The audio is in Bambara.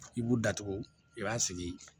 I b'u datugu i b'a sigi